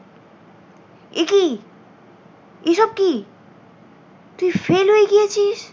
তুই fail হয়ে গিয়েছিস?